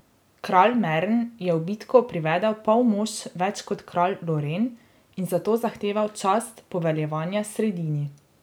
Kralj Mern je v bitko privedel pol mož več kot kralj Loren in zato zahteval čast poveljevanja sredini.